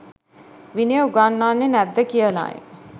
විනය උගන්වන්නේ නැද්ද කියලයි.